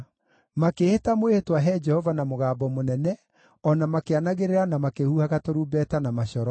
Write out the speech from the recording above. Makĩĩhĩta mwĩhĩtwa he Jehova na mũgambo mũnene, o na makĩanagĩrĩra na makĩhuhaga tũrumbeta na macoro.